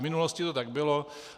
V minulosti to tak bylo.